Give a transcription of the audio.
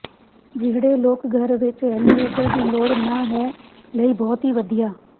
ਜਿਹੜੇ ਲੋਕ ਘਰ ਵਿੱਚ ਐਲੀਵੇਟਰ ਦੀ ਲੋੜ ਨਹ ਹੈ ਲਈ ਬਹੁਤ ਹੀ ਵਧੀਆ